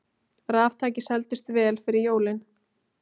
Raftæki seldust vel fyrir jólin